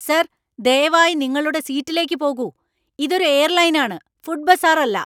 Sir, ദയവായി നിങ്ങളുടെ സീറ്റിലേക്ക്പോകൂ. ഇതൊരു എയർലൈനാണ്, ഫുഡ് ബസാറല്ല!